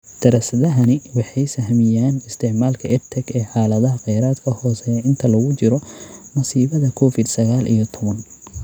Daraasadahani waxay sahamiyaan isticmaalka EdTech ee xaaladaha kheyraadka hooseeya inta lagu jiro masiibada Covid sagaal iyo tobbaan.